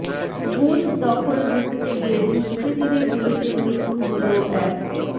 booth দখল রুখতে গিয়ে দুষ্কৃতীদের গুলিতে মৃত্যু হল এক